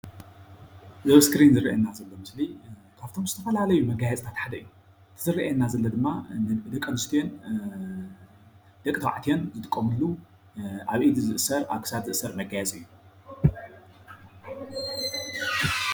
እዚ ኣብ እስክሪን ዝረአየና ዘሎ ምስሊ ካብ እቶም ዝተፈላለዩ መጋየፅታት ሓደ እዩ፡፡ እዚ ዝረአየና ዘሎ ድማ ደቂ ኣነስትዮን ደቂ ተባዕትዮን ዝጥቀምሉ ኣብ ኢድ ዝእሰር ኣብ ክሳድ ዝእሰር መጋየፂ እዩ፡፡